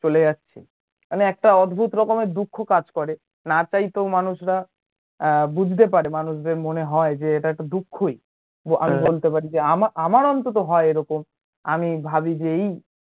চলে যাচ্ছে মানে একটা অদ্ভুত রকমের দুঃখ কাজ করে না চাইতেও মানুষরা আহ বুঝতে পারে মানুষদের মনে হয় যে এটা একটা দুঃখই আমি বলতে পার যে আমার অন্তত হয় এ রকম আমি ভাবি যে এই চলে যাচ্ছে